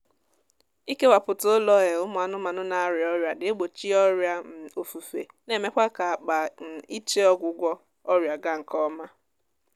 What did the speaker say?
ikewaputa ụlọ um ụmụ anụmaanụ na-arịa ọrịa na-egbochi ọrịa um ofufe na-emekwa ka-akpa um iche ọgwụgwọ ọrịa gaa nkọma